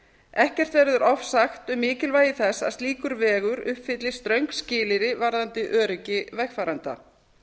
ekkert verður ofsagt um mikilvægi þess að slíkur vegur uppfylli ströng skilyrði varðandi öryggi vegfarenda